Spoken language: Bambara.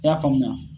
I y'a faamuya